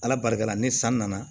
Ala barika la ni san nana